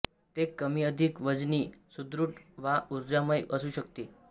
ते कमीअधिक वजनी सुदृढ वा ऊर्जामय असू शकते